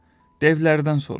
Devlərdən soruş.